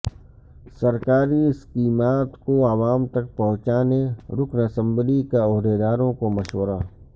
سرکاری اسکیمات کو عوام تک پہونچانے رکن اسمبلی کا عہدیداروں کو مشورہ